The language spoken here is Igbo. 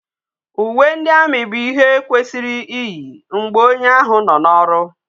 Ume ndi army bu ihe kwesiri iyi mgbe onye ahu no na oru